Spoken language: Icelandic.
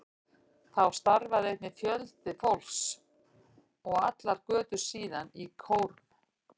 Þá starfaði einnig mikill fjöldi fólks, og allar götur síðan, í kórum.